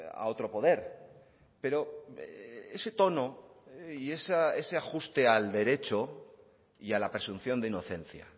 a otro poder pero ese tono y ese ajuste al derecho y a la presunción de inocencia